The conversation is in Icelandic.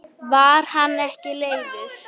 Var hann ekki leiður?